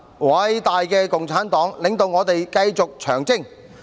偉大的共產黨，領導我們繼續長征！